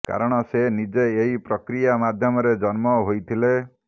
କାରଣ ସେ ନିଜେ ଏହି ପ୍ରକ୍ରିଆ ମାଧ୍ୟମରେ ଜନ୍ମ ହୋଇଥିଲେ